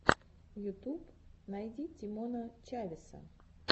ютуб найди тимона чавеса